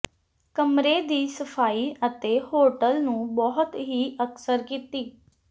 ਕਮਰੇ ਦੀ ਸਫਾਈ ਅਤੇ ਹੋਟਲ ਨੂੰ ਬਹੁਤ ਹੀ ਅਕਸਰ ਕੀਤੀ